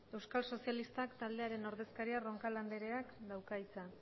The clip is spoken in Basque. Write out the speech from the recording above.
euskal sozialistak taldearen ordezkariak roncal andreak dauka hitza